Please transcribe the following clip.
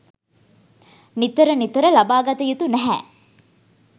නිතර නිතර ලබාගත යුතු නැහැ.